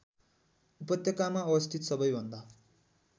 उपत्यकामा अवस्थित सबैभन्दा